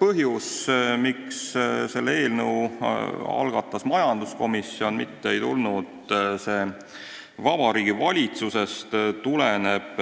Põhjus, miks selle eelnõu algatas majanduskomisjon, miks see ei tulnud Vabariigi Valitsusest, tuleneb